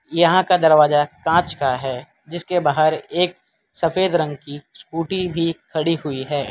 यहां का दरवाजा कांच का है जिसके बाहर एक सफेद रंग की स्कूटी भी खड़ी हुई है।